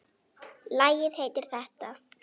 Lagið heitir þetta.